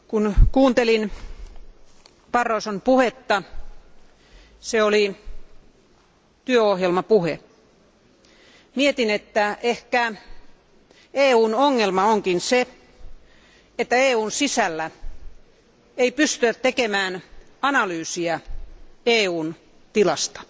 Arvoisa puhemies, kun kuuntelin Barroson puhetta, se oli työohjelmapuhe. Mietin, että ehkä EUn ongelma onkin se, että EUn sisällä ei pystytä tekemään analyysiä EUn tilasta.